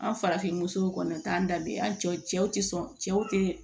An farafinmusow kɔni t'an da bɛɛ an cɛw tɛ sɔn cɛw tɛ